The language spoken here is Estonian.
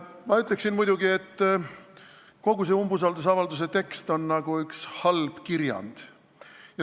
Ma ütleksin, et kogu see umbusaldusavalduse tekst on nagu üks halb kirjand.